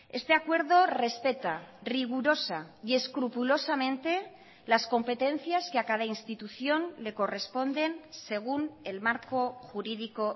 este acuerdo respeta rigurosa y escrupulosamente las competencias que a cada institución le corresponden según el marco jurídico